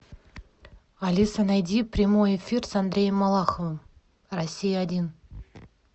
алиса найди прямой эфир с андреем малаховым россия один